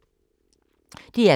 DR K